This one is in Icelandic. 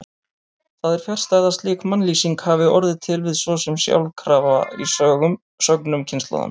Það er fjarstæða að slík mannlýsing hafi orðið til svo sem sjálfkrafa í sögnum kynslóðanna.